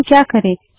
हम क्या करे160